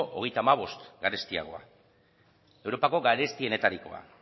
hogeita hamabost garestiagoa europako garestienetarikoa